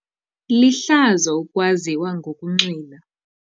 Lihlazo ukwaziwa ngokunxila.